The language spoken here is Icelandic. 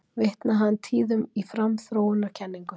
Vitnaði hann tíðum í framþróunarkenningu